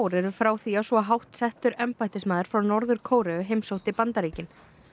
eru frá því að svo hátt settur embættismaður frá Norður Kóreu heimsótti Bandaríkin